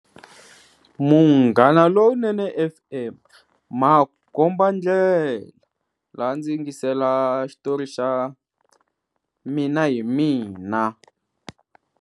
Munghanalonene F_M makombandlela laha a ndzi yingisela xitori xa Mina hi mina.